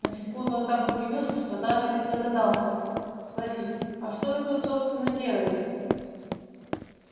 на секунду он так удивился что даже не догадался спросить а что вы тут собственно делаете